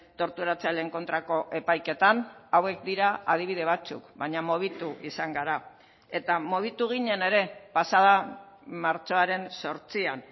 torturatzaileen kontrako epaiketan hauek dira adibide batzuk baina mugitu izan gara eta mugitu ginen ere pasada martxoaren zortzian